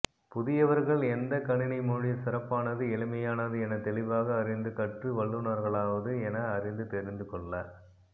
புதியவர்கள் எந்த கணினிமொழி சிறப்பானது எளிமையானது என தெளிவாக அறிந்து கற்று வல்லுணர்களாவது என அறிந்து தெரிந்து கொள்ள